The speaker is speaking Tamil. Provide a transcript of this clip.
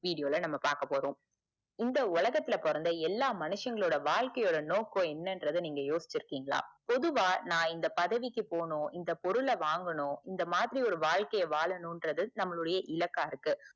video ல நாம பாக்கபோறோம் இந்த உலகத்துல பொறந்த எல்லா மனுஷங்களோட வழக்கை யோட நோக்கம் என்னறது நீங்க யோசிச்சு இருக்கீங்களா பொதுவா நா இந்த பதவிக்கு போனும் பொருளை வாங்கணும் இந்த மாதிரி ஒரு வாழ்க்கைய வாழனும்றது நம்மளுடைய இலக்கா இருக்கு